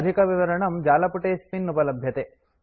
अधिकविवरणं जालपुटेऽस्मिन् उपलभ्यते